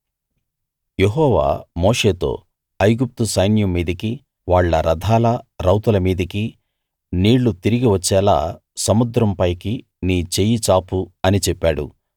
యెహోవా మోషేతో ఐగుప్తు సైన్యం మీదికి వాళ్ళ రథాల రౌతుల మీదికి నీళ్లు తిరిగి వచ్చేలా సముద్రం పైకి నీ చెయ్యి చాపు అని చెప్పాడు